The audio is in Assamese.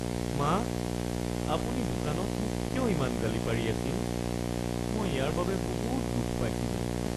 মা! আপুনি দোকানত মোক কিয় ইমান গালি পাৰি আছিল মই ইয়াৰ বাবে বহুত দুখ পাইছিলোঁ।